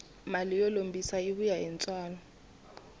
mali yo lombisa yi vuya ni ntswalo